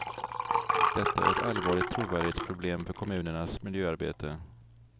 Detta är ett allvarligt trovärdighetsproblem för kommunernas miljöarbete.